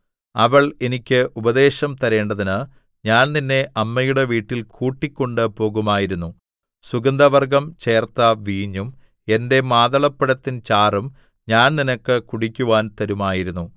അവള്‍ എനിക്ക് ഉപദേശം തരേണ്ടതിന് ഞാൻ നിന്നെ അമ്മയുടെ വീട്ടിൽ കൂട്ടിക്കൊണ്ടുപോകുമായിരുന്നു സുഗന്ധവർഗ്ഗം ചേർത്ത വീഞ്ഞും എന്റെ മാതളപ്പഴത്തിൻ ചാറും ഞാൻ നിനക്ക് കുടിക്കുവാൻ തരുമായിരുന്നു